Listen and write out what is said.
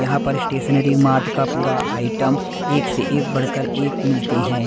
यहां पर stationery mart का पूरा आइटम एक से एक बढ़कर एक मिलते हैं।